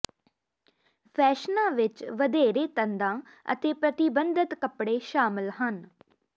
ਫੈਸ਼ਨਾਂ ਵਿੱਚ ਵਧੇਰੇ ਤੰਦਾਂ ਅਤੇ ਪ੍ਰਤਿਬੰਧਿਤ ਕੱਪੜੇ ਸ਼ਾਮਲ ਸਨ